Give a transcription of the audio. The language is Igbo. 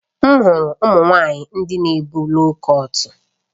M hụrụ ụmụ nwanyị ndị na ebu loo kọt